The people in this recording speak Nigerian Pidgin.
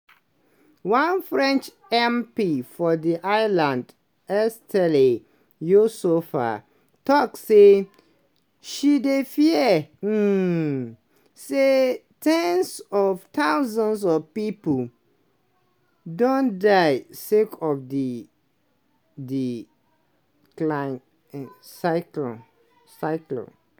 one french mp for di island estelle youssouffa tok say she dey fear um say ten s of thousands of pipo don die sake of di di cyc cyclone.